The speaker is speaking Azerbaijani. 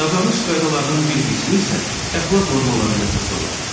Davranış qaydalarının bir qismi isə əxlaq normalarına əsaslanır.